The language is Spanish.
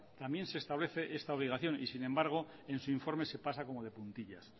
también se establece esta obligación y sin embargo en su informe pasa como de puntillas